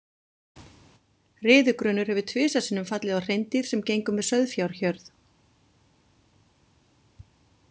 Riðugrunur hefur tvisvar sinnum fallið á hreindýr sem gengu með sauðfjárhjörð.